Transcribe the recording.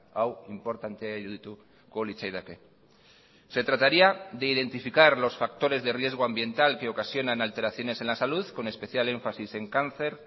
hau inportantea irudituko litzaidake se trataría de identificar los factores de riesgo ambiental que ocasionan alteraciones en la salud con especial énfasis en cáncer